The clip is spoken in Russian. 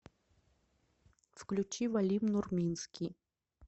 включи валим нурминский